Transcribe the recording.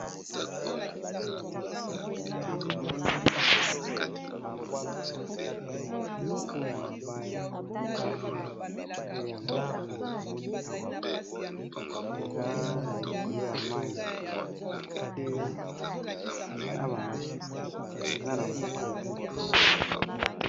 na moni ba buatu misatu oyo ya mabaya nde yango oyo to moni awa, eza likolo ya mayi pe' na bamatiti eza na mopanzi